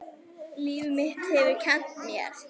Líf mitt hefur kennt mér.